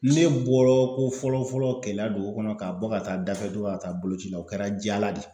Ne bɔrɔ ko fɔlɔ-fɔlɔ Keleya dugu kɔnɔ ka bɔ ka taa dafɛ dugu ka taa boloci la o kɛra Jala de.